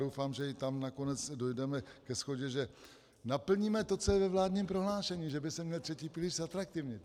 Doufám, že i tam nakonec dojdeme ke shodě, že naplníme to, co je ve vládním prohlášení, že by se měl třetí pilíř zatraktivnit.